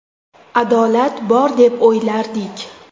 Adolat bor deb o‘ylardik.